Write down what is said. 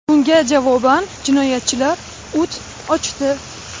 Bunga javoban jinoyatchilar o‘t ochdi.